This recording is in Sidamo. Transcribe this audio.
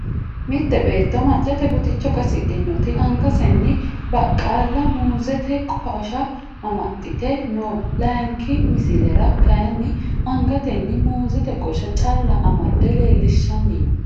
Mitte beeto macate buticho qasidhinoti angaseni baqaalaho muuzete qosha amaxite no laayinki misilera kayiini angateni muuzete qosha calla amade leelishani no.